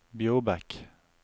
Bjorbekk